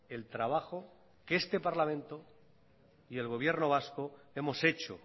el trabajo que este parlamento y el gobierno vasco hemos hecho